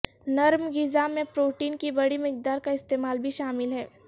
نرم غذا میں پروٹین کی بڑی مقدار کا استعمال بھی شامل ہے